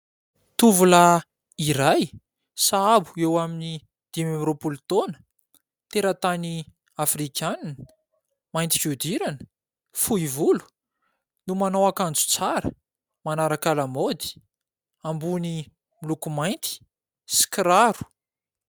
Tovolahy iray sahabo eo amin'ny dimy amby roapolo taona, teratany Afrikana, mainty fihodirana, fohy volo no manao akanjo tsara, manaraka lamaody, ambony miloko mainty sy kiraro.